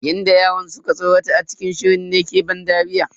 Yadda yaran suka tsorata ne a cikin shirin ne ke bani dariya.